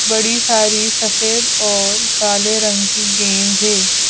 बड़ी सारी सफेद और काले रंग की गेंद है।